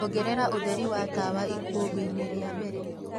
ongereraũtherĩ wa tawa ikumbi ini ria mbere..